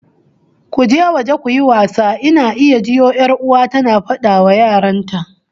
"Go out and play", I can hear my sister ordering her kids